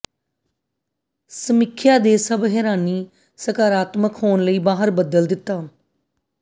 ਸਮੀਖਿਆ ਦੇ ਸਭ ਹੈਰਾਨੀ ਸਕਾਰਾਤਮਕ ਹੋਣ ਲਈ ਬਾਹਰ ਬਦਲ ਦਿੱਤਾ